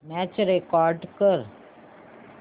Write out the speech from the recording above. match record कर